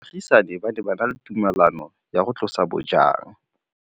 Baagisani ba ne ba na le tumalanô ya go tlosa bojang.